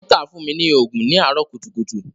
Dọ́kítà fún mi ní òògùn ní àárọ̀ kùtùkùtù.